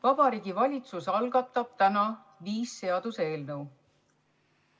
Vabariigi Valitsus algatab täna viis seaduseelnõu.